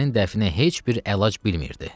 Hadisənin dəfnə heç bir əlac bilmirdi.